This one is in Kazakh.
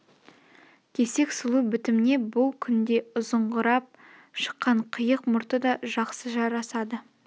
кесек сұлу бітімне бұл күнде ұзаңқырап шыққан қиық мұрты да жақсы жарасады